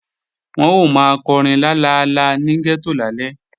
Wọ́n ó máa kọrin lalala ní gẹ́tò lálẹ́